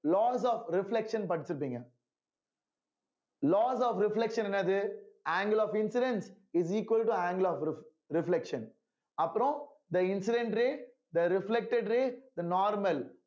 loss of reflection படிச்சிருப்பீங்க loss of reflection என்னது angle of incidents is equal to angle of ref~ reflection அப்பறோம் the incident ray the reflected ray the normal